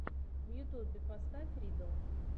в ютюбе поставь риддл